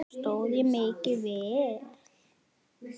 Stóð ég mig ekki vel?